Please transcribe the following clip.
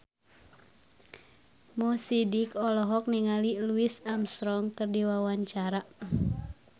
Mo Sidik olohok ningali Louis Armstrong keur diwawancara